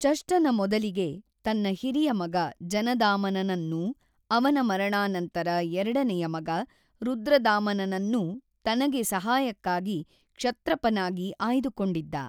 ಚಷ್ಟನ ಮೊದಲಿಗೆ ತನ್ನ ಹಿರಿಯ ಮಗ ಜನದಾಮನನನ್ನೂ ಅವನ ಮರಣಾನಂತರ ಎರಡನೆಯ ಮಗ ರುದ್ರದಾಮನನನ್ನೂ ತನಗೆ ಸಹಾಯಕ್ಕಾಗಿ ಕ್ಷತ್ರಪನಾಗಿ ಆಯ್ದುಕೊಂಡಿದ್ದ.